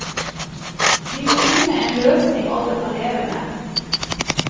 Vi må finne en løsning alle kan leve med.